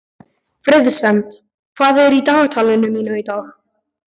Friðsemd, hvað er í dagatalinu mínu í dag?